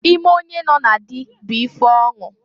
Ime onye nọ na dị bụ ife ọṅụ.